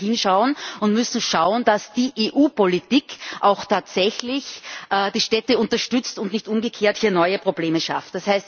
Da müssen wir hinschauen und müssen schauen, dass die EU Politik auch tatsächlich die Städte unterstützt und nicht umgekehrt hier neue Probleme schafft.